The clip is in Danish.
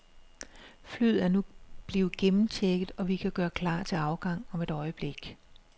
Flyet er nu blevet gennemchecket, og vi kan gøre klar til afgang om et øjeblik.